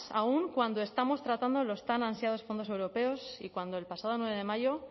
aún cuando estamos tratando los tan ansiados fondos europeos y cuando el pasado nueve de mayo